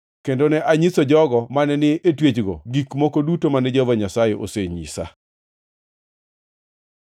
kendo ne anyiso jogo mane ni e twechgo gik moko duto mane Jehova Nyasaye osenyisa.